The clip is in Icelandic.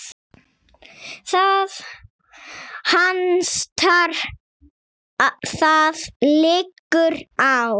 Það hastar: það liggur á.